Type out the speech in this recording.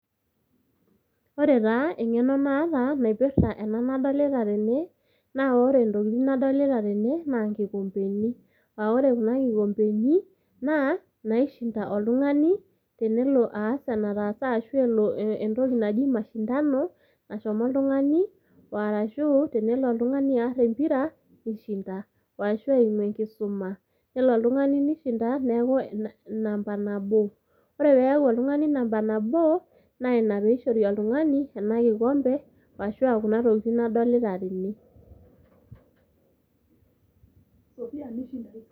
Ore taa eng'eno naataa naipirta ena nadolita tene naa ore ntokitin nadolita tene naa  nkikompeni, aah ore kuna kikompeni naa naishinda oltungani tenelo aas enataasa ashu elo entoki naji mashindano nashomo oltungani o arashuu tenelo oltungani arr empira neishinda arashu eimu  enkisuma nelo oltungani neishinda neaku namba nabo , ore peaku oltungani  namba naboo, naina peeishori oltungani ena kikompe ashuu aa kuna tokitin nadolita tene.